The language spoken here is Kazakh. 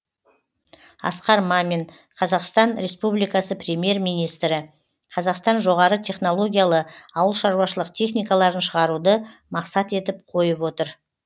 асқар мамин қазақстан республикасы премьер министрі қазақстан жоғары технологиялы ауылшаруашылық техникаларын шығаруды мақсат етіп қойып отыр